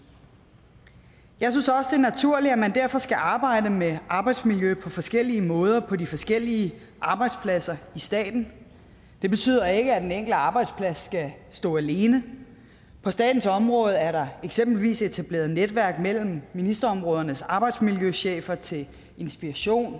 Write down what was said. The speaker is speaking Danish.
jeg synes også naturligt at man derfor skal arbejde med arbejdsmiljøet på forskellige måder på de forskellige arbejdspladser i staten det betyder ikke at den enkelte arbejdsplads skal stå alene på statens område er der eksempelvis etableret netværk mellem ministerområdernes arbejdsmiljøchefer til inspiration